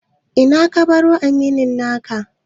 Ina ka baro aminin naka?